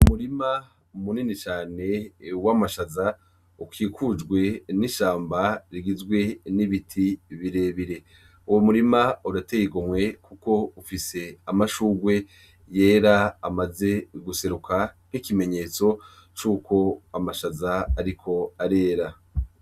Umurima munini cane wamashaza, ukikujwe n'ishamba rigizwe n'ibiti birebire, uwo murima urateye igomwe kuko ufise amashurwe yera, amaze guseruka nkikimenyetso cuko amashaza ariko arera.